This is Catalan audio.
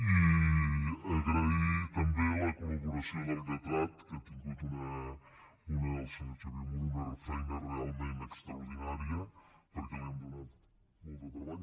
i agrair també la col·vier muro que ha tingut una feina realment extraordinària perquè li hem donat molt de treball